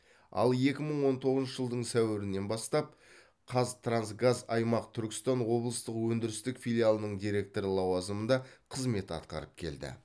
ал екі мың он тоғызыншы жылдың сәуірінен бастап қазтрансгаз аймақ түркістан облыстық өндірістік филиалының директоры лауазымында қызмет атқарып келді